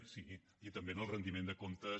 sí i també en el rendiment de comptes